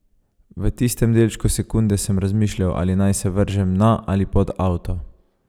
V tistem delčku sekunde sem razmišljal, ali naj se vržem na ali pod avto.